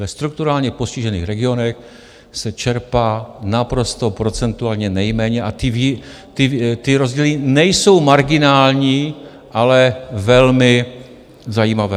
Ve strukturálně postižených regionech se čerpá naprosto procentuálně nejméně a ty rozdíly nejsou marginální, ale velmi zajímavé.